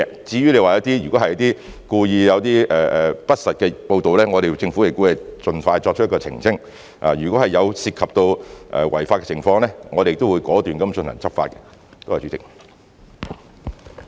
至於你說如果有一些故意不實的報道，政府亦會盡快作出澄清；如果涉及違法的情況，我們亦會果斷進行執法。